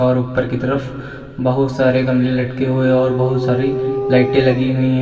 और ऊपर की तरफ बहुत सारे गमले लटके हुए और बहुत सारी लाइटें लगी हुई हैं।